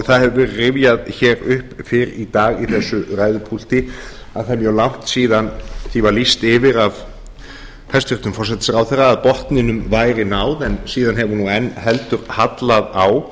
það hefur verið rifjað upp fyrr í dag hér úr þessu ræðupúlti að það er mjög langt síðan því var lýst yfir af hæstvirtum forsætisráðherra að botninum væri náð en síðan hefur enn heldur hallað á